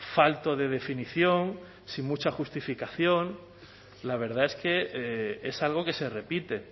falto de definición sin mucha justificación la verdad es que es algo que se repite